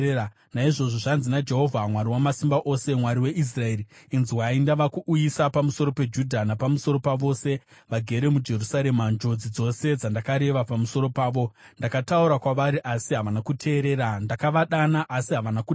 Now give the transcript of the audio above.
“Naizvozvo, zvanzi naJehovha Mwari Wamasimba Ose, Mwari weIsraeri: ‘Inzwai! Ndava kuuyisa pamusoro peJudha napamusoro pavose vagere muJerusarema njodzi dzose dzandakareva pamusoro pavo. Ndakataura kwavari, asi havana kuteerera; ndakavadana, asi havana kudavira.’ ”